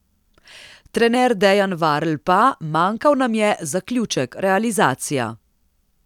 Trener Dejan Varl pa: 'Manjkal nam je zaključek, realizacija.